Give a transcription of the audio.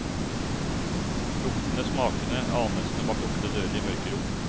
Luktene, smakene, anelsene bak lukkede dører i mørke rom.